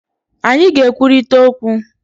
Anyị ga-ekwurịta okwu